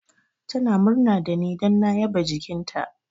Tana murna da ni don na yaba jikinta.